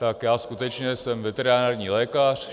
Tak já skutečně jsem veterinární lékař.